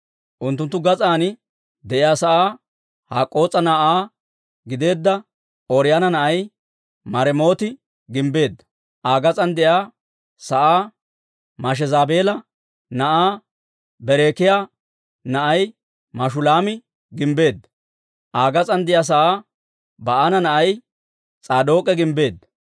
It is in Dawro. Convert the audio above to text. Unttunttu gas'aan de'iyaa sa'aa Hak'k'oos'a na'aa gideedda Ooriyoona na'ay Maremooti gimbbeedda. Aa gas'aan de'iyaa sa'aa Mashezaabeela na'aa Berekiyaa na'ay Mashulaami gimbbeedda. Aa gas'aan de'iyaa sa'aa Ba'aana na'ay S'aadook'e gimbbeedda.